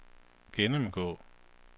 gennemgå